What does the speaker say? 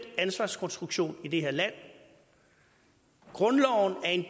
ansvarskonstruktion i det her land grundloven er en